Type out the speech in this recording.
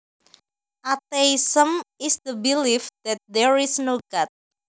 Atheism is the belief that there is no God